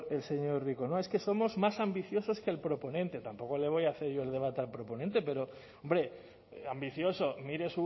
el señor rico no es que somos más ambicioso que el proponente tampoco le voy a hacer yo el debate al proponente pero hombre ambicioso mire